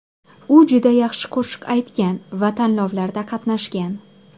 U juda yaxshi qo‘shiq aytgan va tanlovlarda qatnashgan.